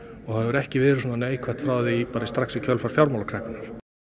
og það hefur ekki verið svona neikvætt frá því strax í kjölfar fjármálakreppunnar